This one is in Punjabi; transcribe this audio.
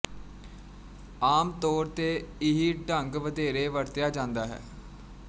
ਆਮ ਤੌਰ ਤੇ ਇਹੀ ਢੰਗ ਵਧੇਰੇ ਵਰਤਿਆ ਜਾਂਦਾ ਹੈ